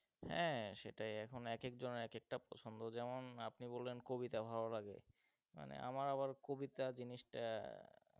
হ্যাঁ সেটাই এখন এক একেক জনের এক একেকটা পছন্দ যেমন আপনি বললেন কবিতা ভালো লাগে, মানে আমার আবার কবিতা জিনিসটা,